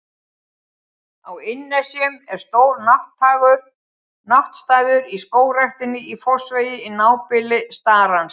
Á Innnesjum er stór náttstaður í Skógræktinni í Fossvogi, í nábýli starans.